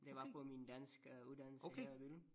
Det var på min danskuddannelse her i Billund